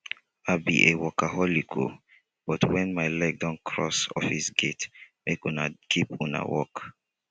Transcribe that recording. i be a workaholic oo but when my leg don cross office gate make una keep una work